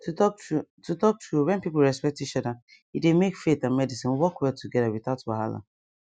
to talk true to talk true when people respect each other e dey make faith and medicine work well together without wahala